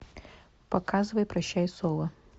показывай прощай соло